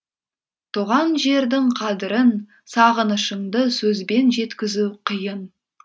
туған жердің қадірін сағынышыңды сөзбен жеткізу қиын